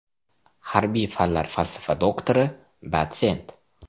Harbiy fanlar falsafa doktori, dotsent.